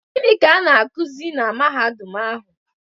Gịnị ka a na-akuzi na Mahadum ahụ?